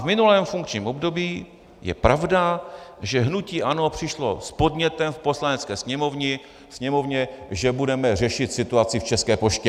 V minulém funkčním období, je pravda, že hnutí ANO přišlo s podnětem v Poslanecké sněmovně, že budeme řešit situaci v České poště.